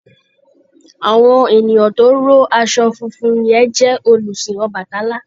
Àwọn ènìyàn tó ró aṣọ funfun yẹn jẹ́ olùsìn Ọbàtálá.